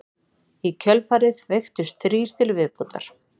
Í kjölfarið veiktust þrír til viðbótar